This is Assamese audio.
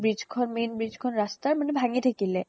bridge খন মানে main bridge মাজতে ৰাস্তাৰ মানে ভাঙি থাকিলে